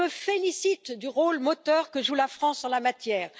Je me félicite du rôle moteur que joue la France en la matière.